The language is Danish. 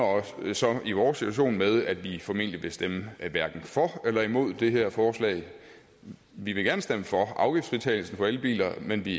så i vores situation med at vi formentlig vil stemme hverken for eller imod det her forslag vi vil gerne stemme for afgiftsfritagelsen for elbiler men vi